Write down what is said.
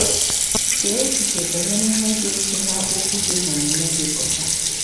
Chee echiche banyere ihe ga-esi n'okwu gị na omume gị pụta.